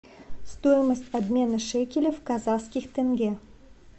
стоимость обмена шекелей в казахских тенге